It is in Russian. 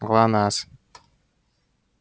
глонассс